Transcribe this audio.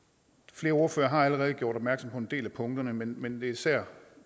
flere ordførere har allerede gjort opmærksom på en del af punkterne men men det er især